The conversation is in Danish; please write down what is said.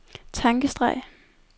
tankestreg